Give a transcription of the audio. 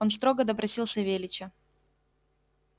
он строго допросил савельича